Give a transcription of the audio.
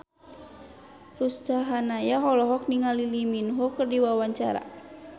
Ruth Sahanaya olohok ningali Lee Min Ho keur diwawancara